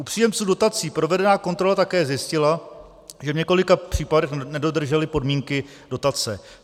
U příjemců dotací provedená kontrola také zjistila, že v několika případech nedodrželi podmínky dotace.